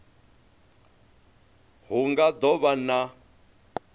hu nga do vha na